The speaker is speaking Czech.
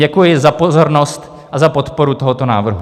Děkuji za pozornost a za podporu tohoto návrhu.